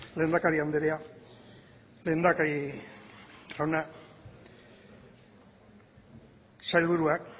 lehendakari andrea lehendakari jauna sailburuak